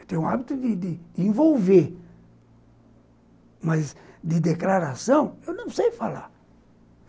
Eu tenho o hábito de de envolver, mas de declaração eu não sei falar.